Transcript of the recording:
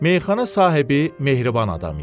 Meyxana sahibi mehriban adam idi.